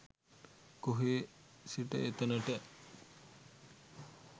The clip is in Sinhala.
කොහේ සිට එතනට